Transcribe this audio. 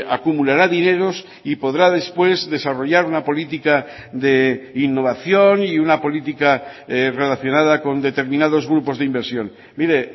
acumulará dineros y podrá después desarrollar una política de innovación y una política relacionada con determinados grupos de inversión mire